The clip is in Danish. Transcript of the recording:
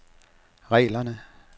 reglerne